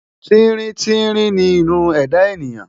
Tíríntírín ni irun ẹ̀dá ènìyàn.